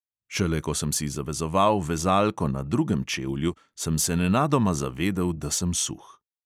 Šele ko sem si zavezoval vezalko na drugem čevlju, sem se nenadoma zavedel, da sem suh.